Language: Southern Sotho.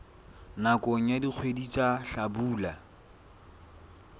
nakong ya dikgwedi tsa hlabula